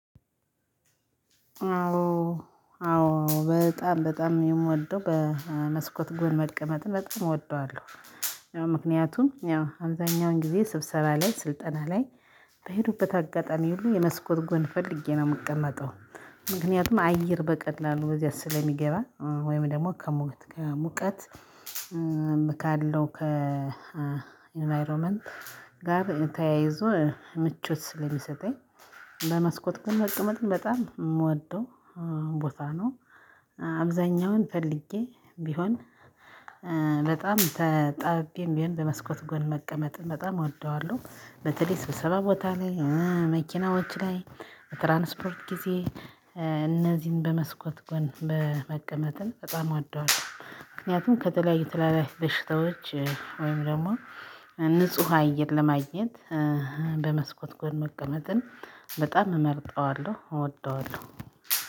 አዎ አዎ በጣም በጣም የምወደው በመስኮት ጎን መልቀመጥ በጣም እወደዋለሁ። ያው ምክንያቱም ያው አብዛኛውን ጊዜ ስብሰባ ላይ ስልጠና ላይ በሄዱበት አጋጣሚ ሁሉ የመስኮት ጎን ፈልጌ ነው የምቀመጠው። ምክንያቱም አየር በቀላሉ በዚያ ስለሚገባ ወይም ደግሞ ከሙቀት ካለው ከኢንቫይሮመንት ጋር ተያይዞ ምቾት ስለሚሰጠኝ። በመስኮት ጎን መቀመጥ በጣም የምወደው ቦታ ነው። አብዛኛውን ፈልጌ ቢሆን በጣም ተጣብቤም ቢሆን በመስኮት ጎን መቀመጥ በጣም እወደዋለሁ። በተለይ ስብሰባ ቦታ ላይ፤ መኪናዎች ላይ፤ በትራንስፖርት ጊዜ፤ እነዚህን በመስኮት ጎን በመቀመጥንን በጣም ወደዋለሁ። ምክንያቱም ከተለያዩ ትላልቅ በሽታዎች ወይም ደግሞ ንጹህ አየር ለማግኘት በመስኮት ጎን መቀመጥን በጣም እመርጠዋለሁ እወደዋለሁ።